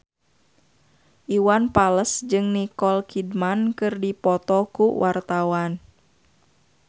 Iwan Fals jeung Nicole Kidman keur dipoto ku wartawan